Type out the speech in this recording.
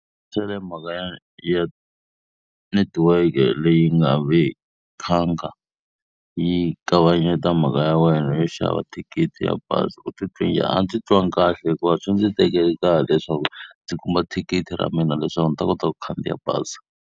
mhaka ya ya netiweke leyi nga vi khanga yi kavanyeta mhaka ya wena yo xava thikithi ra bazi u titwa njhani? A ndzi titwanga kahle hikuva swi ndzi tekerile nkarhi leswaku ndzi kuma thikithi ra mina leswaku ndzi ta kota ku khandziya bazi.